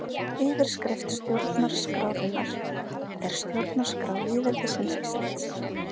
Yfirskrift stjórnarskrárinnar er Stjórnarskrá lýðveldisins Íslands.